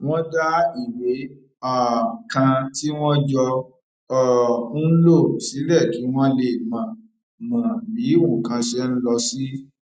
wọn dá ìwé um kan tí wọn jọ um ń lò sílẹ kí wọn lè mọ mọ bí nǹkan ṣe ń lọ sí